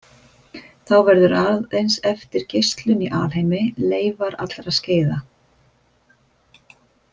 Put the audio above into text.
Þá verður aðeins eftir geislun í alheimi, leifar allra skeiða.